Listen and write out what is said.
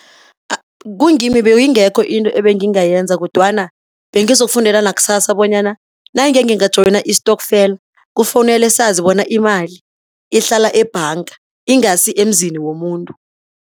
Kungimi beyingekho into engingayenza kodwana bengizokufundela nakusasa bonyana nangenginga joyina istokfela, kufanele sazi bona imali ihlala ebhanga ingasi emzini womuntu.